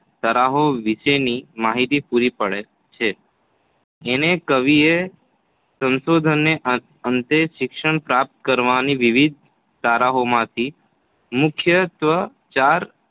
તરાહો વિશેની માહિતી પૂરી પાડે છે. અનેકવિધ સંશોધનોને અંતે શિક્ષણ પ્રાપ્ત કરવાની વિવિધ તરાહોમાંથી મુખ્યત્વે ચાર